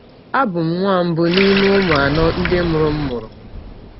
Abụ m nwa mbụ n’ime ụmụ anọ ndị mụrụ m mụrụ.